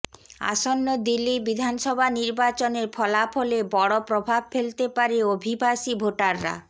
আসন্ন দিল্লি বিধানসভা নির্বাচনের ফলাফলে বড় প্রভাব ফেলতে পারে অভিবাসী ভোটাররা